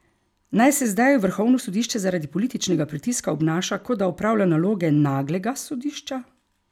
Naj se zdaj vrhovno sodišče zaradi političnega pritiska obnaša, kot da opravlja naloge naglega sodišča?